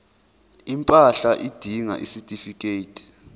impahla udinga isitifikedi